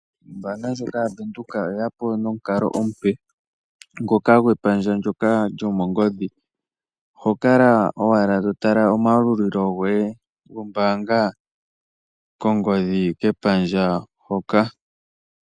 Ombaanga ya Venduka oye yapo nomukalo omupe ngoka gwepandja ndyoka lyo mongodhi. Oho kala owala to tala omayalulilo goye gombaanga kongodhi kepandja hoka.